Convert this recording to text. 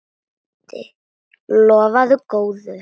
Lofar góðu.